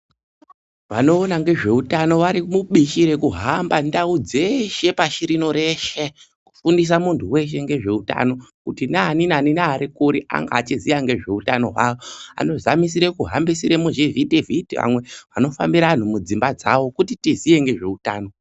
Vanoona ngezveutano vari mubishi rekuhamba ndau dzeshe pashi rino reshe, kufundisa muntu weshe ngezveutano kuti nani nani neari kure ange achiziya ngezveutano hwawo. Anozamisire kuhambisire muzvivhiti vhiti amwe anofambira anhu mudzimba dzawo, kuti tiziye ngezveutano.